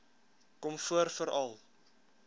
kom voor veral